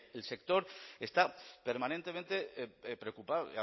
el sector está permanentemente preocupado